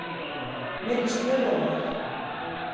Mér líst mjög vel á þær.